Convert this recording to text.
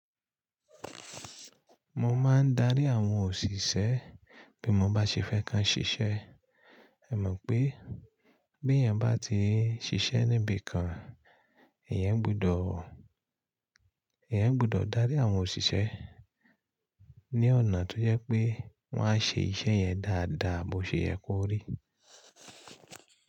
Mo máa ń darí àwọn òṣìṣẹ́ bí mo bá ṣe fẹ́ kan ṣiṣẹ́. Ẹ mọ̀ pé bí èèyàn bá ti n ṣiṣẹ́ níbi kan, eeyan gbọdọ̀, eeyan gbọdọ̀ darí àwọn òṣìṣẹ́ ní ọ̀nà tó je pé wọ́n á ṣe iṣẹ́ yẹn dáadáa bó ṣe yẹ kó rí.